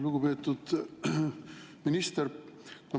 Lugupeetud minister!